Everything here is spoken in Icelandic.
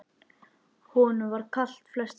Honum var kalt flestar nætur.